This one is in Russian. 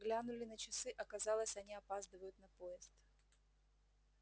глянули на часы оказалось они опаздывают на поезд